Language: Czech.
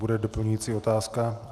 Bude doplňující otázka?